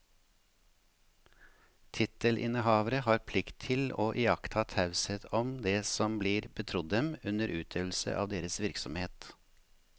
Tittelinnehavere har plikt til å iaktta taushet om det som blir betrodd dem under utøvelse av deres virksomhet.